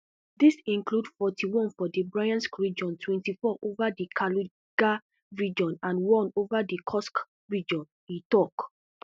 dis include forty-one for di bryansk region twenty-four over di kaluga region and one over di kursk region e tok